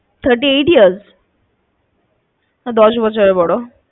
thirty eight years? দশ বছরের বড়।